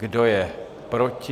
Kdo je proti?